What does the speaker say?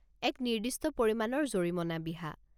এক নিৰ্দিষ্ট পৰিমাণৰ জৰিমনা বিহা।